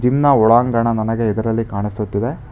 ನ್ನ ಒಳಾಂಗಣ ನನಗೆ ಇದರಲ್ಲಿ ಕಾಣಿಸುತ್ತಿದೆ.